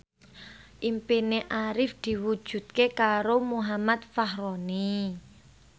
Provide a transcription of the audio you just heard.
impine Arif diwujudke karo Muhammad Fachroni